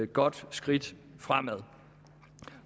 godt skridt fremad